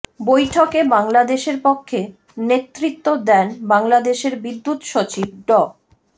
বৈঠকে বাংলাদেশের পক্ষে নেতৃত্ব দেন বাংলাদেশের বিদ্যুৎ সচিব ড